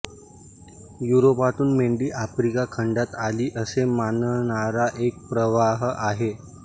युरोपातून मेंढी आफ्रिका खंडात आली असे मानणारा एक प्रवाह आहे